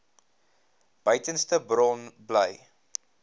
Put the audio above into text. beduidendste bron bly